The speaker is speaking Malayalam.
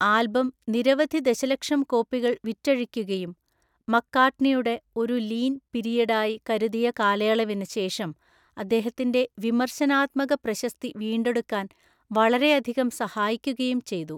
ആൽബം നിരവധി ദശലക്ഷം കോപ്പികൾ വിറ്റഴിക്കുകയും മക്കാർട്ട്നിയുടെ ഒരു ലീൻ പീരിയഡായി കരുതിയ കാലയളവിന് ശേഷം അദ്ദേഹത്തിന്റെ വിമർശനാത്മക പ്രശസ്തി വീണ്ടെടുക്കാൻ വളരെയധികം സഹായിക്കുകയും ചെയ്തു.